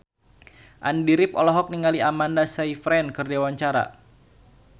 Andy rif olohok ningali Amanda Sayfried keur diwawancara